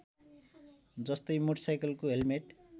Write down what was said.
जस्तै मोटरसाइकलको हेल्मेट